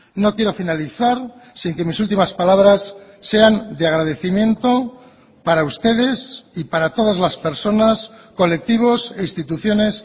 no quiero finalizar sin que mis últimas palabras sean de agradecimiento para ustedes y para todas las personas colectivos e instituciones